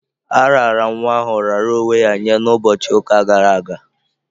A raara nwa ahụ raara onwe ya nye ụbọchị ụka gara aga.